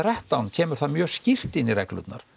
þrettán kemur það mjög skýrt inn í reglurnar